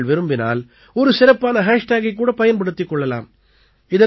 நீங்கள் விரும்பினால் ஒரு சிறப்பான ஹேஷ்டேகைக் கூட பயன்படுத்திக் கொள்ளலாம்